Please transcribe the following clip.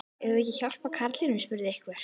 Eigum við ekki að hjálpa karlinum? spurði einhver.